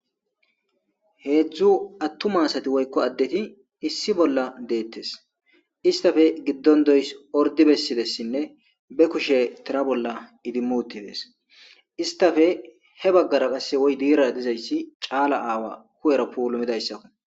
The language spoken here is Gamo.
heedzdzu attuma asati woykko addeti issi bolla deettes istafe giddon doys ordi bessidessinne be kushe tira bolla idimu tibees istafe he baggara qasse woy diira dizayssi caala aawa ku7era puulumidayssakko